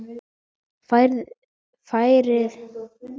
Færðin var þung á leiðinni heim.